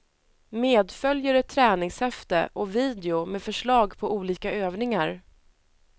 Medföljer ett träningshäfte och video med förslag på olika övningar.